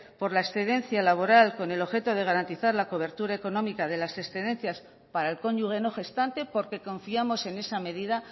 por la excedencia laboral con el objeto de garantizar la cobertura económica de las excedencias para el cónyuge no gestante porque confiamos en esa medida